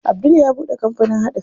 Abdul ya buɗe kampanin haɗa fim.